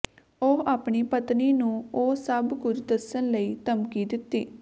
ਉਹ ਆਪਣੀ ਪਤਨੀ ਨੂੰ ਉਹ ਸਭ ਕੁਝ ਦੱਸਣ ਲਈ ਧਮਕੀ ਦਿੱਤੀ